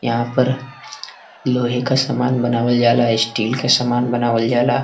यहाँ पर लोहे का समान बनावे जाला। स्टील का समान बानवे जाला।